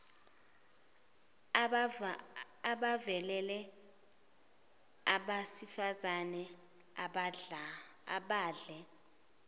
abavelele abasifazane abadle